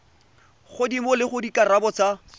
godimo le gore dikarabo tsa